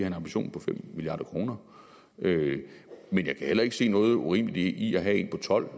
en ambition på fem milliard kr men jeg kan heller ikke se noget urimeligt i at have en på tolv